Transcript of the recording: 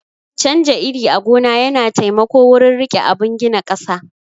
Canja iri a gona yana taimako wurin rike abun gina ƙasa